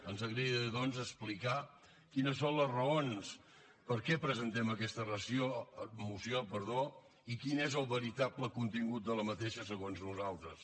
ens agradaria doncs explicar quines són les raons per què presentem aquesta moció i quin és el veritable contingut d’aquesta segons nosaltres